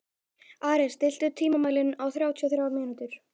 Ares, stilltu tímamælinn á þrjátíu og þrjár mínútur.